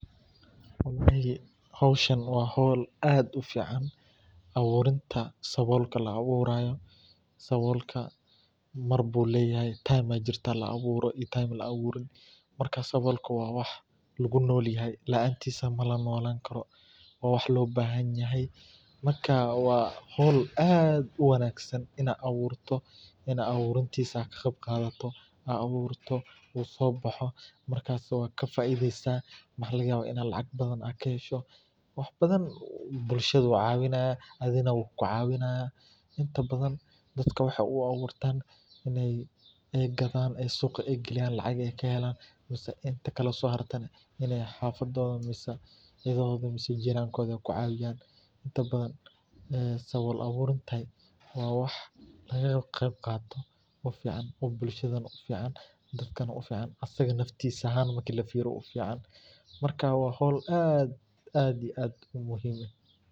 Hoshan waa hol aad u fican aburinta sabulka la aburayo, sabulka mar ayu leyahay time la aburo aya jirtaa, marka sabulka waa wax lagu nolyahay, laantisa lama nolan karo waa wax lo bahan yahay, marka waa hol aad u wanagsan oo la aburto in aad aburtisa ka qeyb qarto oo aad aburto u sobaxo marka sabulka faidho ayu lahanaya maxaa laga yawa in lacag badan kahesho bulshaada ayu cawinaya athigana wukucawinaya inta badan wexee u aburtan in ee gadhan ee suqa geyan ee lacag ee kahelan mase inta kale oo so harte ee xafadodha mase cidahodha ee ku cawiyan inta badan sabul aburta waa wax laga qeyb qato bulshhadana u fican dadkana naftisa ahan marki lafiriyo ufican, marka waa hol aad iyo aad u fican.